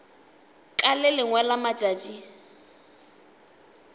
ka le lengwe la matšatši